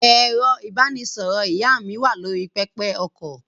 Ẹ̀rọ-ìbánisọ̀rọ̀ ìyá mi wà lórí pẹpẹ-okọ̀.